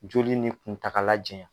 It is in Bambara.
Joli ni kuntaala jɛan.